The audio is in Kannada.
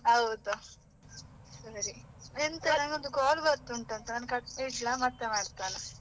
ಹೌದು, ಸರಿ ಎಂತಾ ನಂಗೊಂದು call ಬರ್ತಾ ಉಂಟು ಆಯ್ತಾ ನಾನು cut ಇಡ್ಲ ಮತ್ತೆ ಮಾಡ್ತೇನೆ.